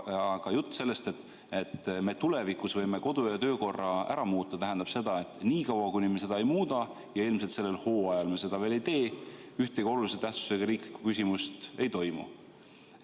Aga jutt sellest, et me tulevikus võime kodu- ja töökorra ära muuta, tähendab seda, et niikaua, kuni me seda ei muuda – ja ilmselt sellel hooajal me seda veel ei tee –, ühtegi olulise tähtsusega riiklikku küsimust ei toimu.